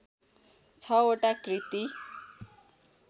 छ वटा कृति